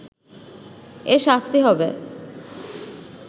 এর শাস্তি হবে